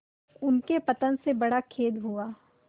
उनके पतन से बड़ा खेद हुआ